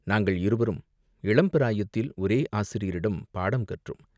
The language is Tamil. நாங்கள் இருவரும் இளம்பிராயத்தில் ஒரே ஆசிரியரிடம் பாடங்கற்றோம்.